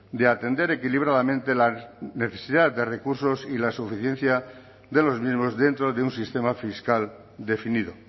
de atender equilibradamente la necesidad de recursos y la suficiencia de los mismos dentro de un sistema fiscal definido